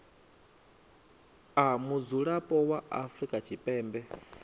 a mudzulapo wa afrika tshipembe